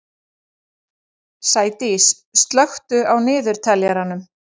Sædís, slökktu á niðurteljaranum.